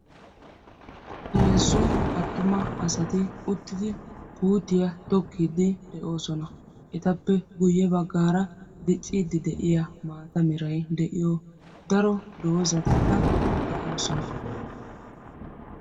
Heezzu attuma asati uttidi puutiyaa tokkiiddi de'oosona. Etappe guyye baggaara dicciiddi de"iyaa maata meray de"iyo daro dozzatikka de'oosona.